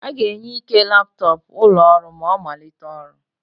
A ga-enye Ike laptọọpụ ụlọ ọrụ ma ọ malite ọrụ.